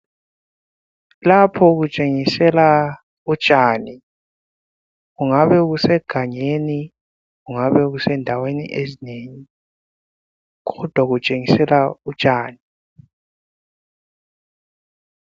Lapho kutshengisela utshani kungabe kusegangeni, kungabe kuse ndaweni ezinengi kodwa kutshengisela utshani.